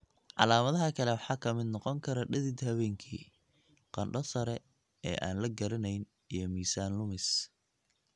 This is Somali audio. Calaamadaha kale waxaa ka mid noqon kara dhidid habeenkii, qandho sare oo aan la garanayn, iyo miisaan lumis.